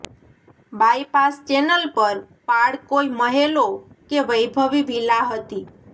bypass channel પર પાળ કોઈ મહેલો કે વૈભવી વિલા હતી